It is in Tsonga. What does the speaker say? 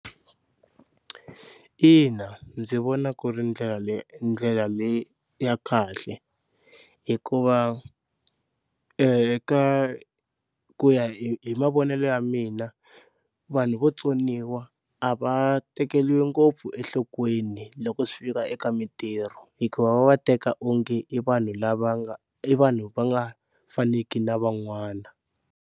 Ina ndzi vona ku ri ndlela leyi ndlela leyi ya kahle hikuva eka ku ya hi mavonelo ya mina vanhu vo tsoniwa a va tekeriwi ngopfu enhlokweni loko swi fika eka mintirho, hikuva va va teka onge i vanhu lava nga i vanhu va nga faneki na van'wana.